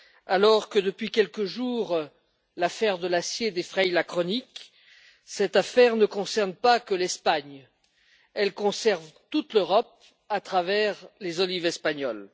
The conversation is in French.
Alors que depuis quelques jours, l'affaire de l'acier défraie la chronique, cette affaire ne concerne pas que l'Espagne, elle concerne toute l'Europe à travers les olives espagnoles.